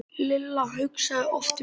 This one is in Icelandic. Lilla hugsaði oft um Rikku.